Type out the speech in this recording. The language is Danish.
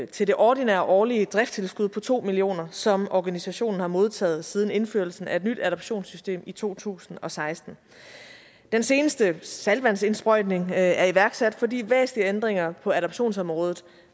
til det ordinære årlige driftstilskud på to million kr som organisationen har modtaget siden indførelsen af et nyt adoptionssystem i to tusind og seksten den seneste saltvandsindsprøjtning er iværksat fordi væsentlige ændringer på adoptionsområdet